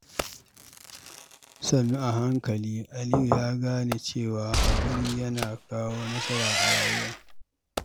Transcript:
Sannu a hankali, Aliyu ya gane cewa haƙuri yana kawo nasara a rayuwa.